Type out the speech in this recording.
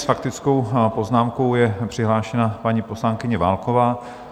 S faktickou poznámkou je přihlášená paní poslankyně Válková.